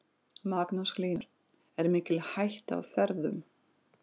Magnús Hlynur: Er mikil hætta á ferðum?